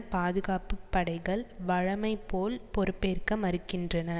பாதுகாப்பு படைகள் வழமை போல் பொறுப்பேற்க மறுக்கின்றன